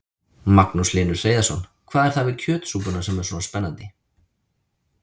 Magnús Hlynur Hreiðarsson: Hvað er það við kjötsúpuna sem er svona spennandi?